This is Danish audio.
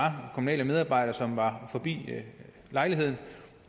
kommunale medarbejdere som var forbi lejligheden